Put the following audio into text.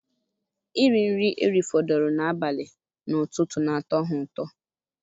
Iri nri eri fọdụrụ na-abali n'ututu na atọ ha ụtọ